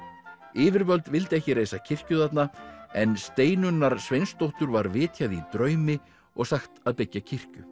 yfirvöld vildu ekki reisa kirkju þarna en Steinunnar Sveinsdóttur var vitjað í draumi og sagt að byggja kirkju